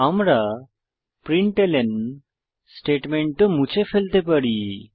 আমরা প্রিন্টলন স্টেটমেন্ট ও মুছে ফেলতে পারি